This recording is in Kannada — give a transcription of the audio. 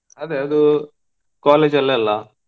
ಅದೇ ಅದು college ಅಲೆಲ್ಲಾ.